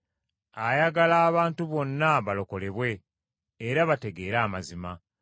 ayagala abantu bonna balokolebwe, era bategeere amazima.